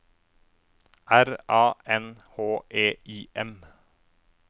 R A N H E I M